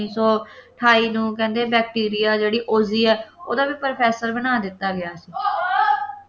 ਉੱਨੀ ਸੌ ਅਠਾਈ ਨੂੰ ਕਹਿੰਦੇ ਆ bacteria ਜਿਹੜੀ ਉਹ ਵੀ ਹੈ ਉਸਦਾ ਵੀ professor ਬਣਾ ਦਿੱਤਾ ਗਿਆ ਸੀ